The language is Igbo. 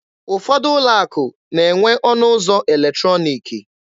Ụfọdụ ụlọ akụ na-enwe ọnụ ụzọ eletrọniki.